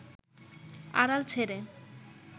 আড়াল ছেড়ে